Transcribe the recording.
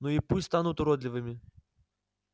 ну и пусть станут уродливыми